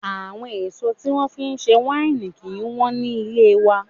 Àwọn èso tí wón fi ń ṣe wáìnì kí ń wù ní ilé wa.